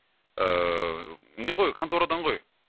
ыыы не ғой конторадан ғой